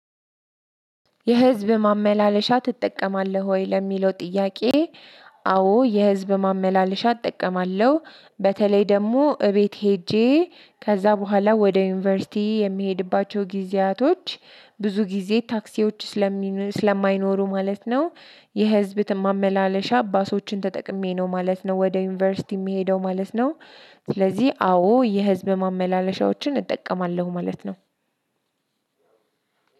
የህዝብ ማመላለሻ ትጠቀማለህ ወይ ለሚለው ጥያቄ? አ አዎ የህዝብ ማመላለሻ እጠቀማለሁ በተለይ ደግሞ እቤት ሄጄ ከዛ በኋላ ወደ ዩኒቨርሲቲ የሚሄድባቸው ጊዜያቶች ብዙ ጊዜ ታክሲዎች ስለሚነ ስለማይኖሩ ማለት ነው የህዝብ ማመላለሻ ባሶችን ተጠቅሜ ነው ማለት ነው ወደ ዩኒቨርሲቲ የምሄደው ማለት ነው። ስለዚህ አዎ የህዝብ ማመላለሻዎችን እጠቀማለሁ ማለት ነው።